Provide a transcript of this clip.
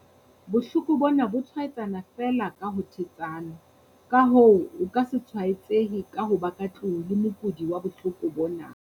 Bohloko bona, bo tshwaetsana feela ka ho thetsana, ka hoo, o ke se tshwaetsehe ka ho ba ka tlung le mokudi wa bohloko bona.